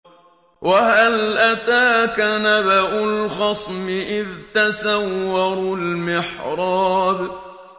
۞ وَهَلْ أَتَاكَ نَبَأُ الْخَصْمِ إِذْ تَسَوَّرُوا الْمِحْرَابَ